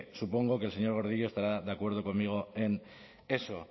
supongo que el señor gordillo estará de acuerdo conmigo en eso